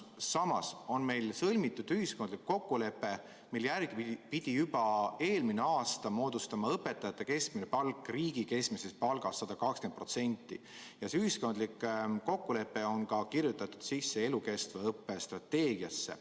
Samas on meil sõlmitud ühiskondlik kokkulepe, mille järgi pidi juba eelmisel aastal moodustama õpetajate keskmine palk riigi keskmisest palgast 120%, ja see ühiskondlik kokkulepe on kirjutatud sisse ka elukestva õppe strateegiasse.